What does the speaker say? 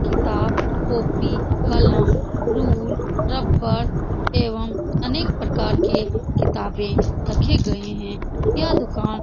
किताब कॉपी कलम रूल रबड़ एवं अनेक प्रकार के किताबें रखे गऐ हैं यह दुकान --